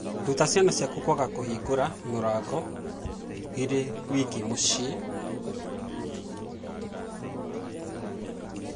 Ruta ciana ciaku kwaga kũhingũra mũrango irĩ wiki mũciĩ